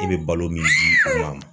E be balo min di u ma